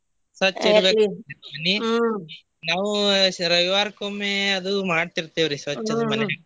ಸ್ವಚ್ಛ ಇಡಬೇಕ್ರಿ ಮನಿ ನಾವು ಶ~ ರವಿವಾರಕೊಮ್ಮಿ ಅದು ಮಾಡತಿರ್ತೆವ್ರಿ ಸ್ವಚ್ಛ ಮನಿ .